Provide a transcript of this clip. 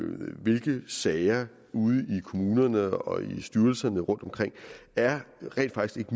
hvilke sager ude i kommunerne og i styrelserne rundtomkring er rent faktisk